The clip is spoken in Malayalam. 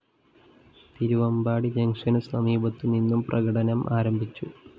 തിരുവാമ്പാടി ജങ്ഷനു സമീപത്തുനിന്ന് പ്രകടനം ആരംഭിച്ചു